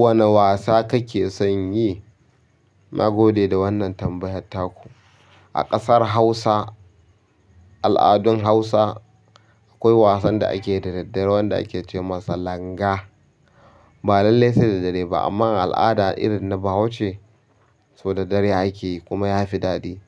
Wane wasa kake son yi? Na gode da wannan tambayar taku. A ƙasar Hausa, al'adun Hausa akwai wasan da ake da daddare wanda ake ce masa langa. Ba lallai sai da dare ba amma al'ada irin na Bahauce, sau da dare ake yi kuma ya fi daɗi.